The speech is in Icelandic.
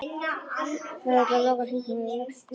Það þurfti að loka hringnum og ég var loksins tilbúin.